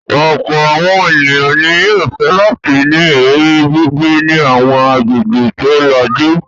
Ọ̀pọ̀ àwọn ènìyàn ni yóò fẹ́ láti ní ìrírí gbígbé ní àwọn agbègbè tó lajú.